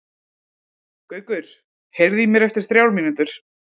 Gaukur, heyrðu í mér eftir þrjár mínútur.